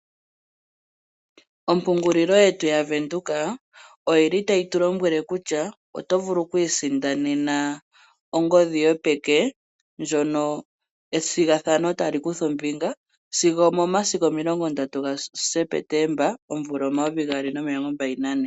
Ompungulilo yetu yaVenduka oyi li tayi tulombwele kutya oto vulu okwiisindanena ongodhi yo peke ndjono ethigathano ta li kutha ombinga sigo omomasiku omilongo ndatu gaSepetemba omvula omayovi gaali nomilongo mbali nane.